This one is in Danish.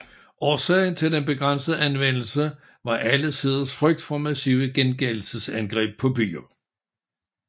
Årsagen til den begrænsede anvendelse var alle siders frygt for massive gengældelsesangreb på byer